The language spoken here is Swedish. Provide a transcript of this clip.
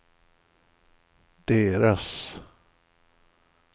deras